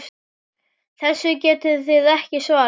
Þessu getið þið ekki svarað!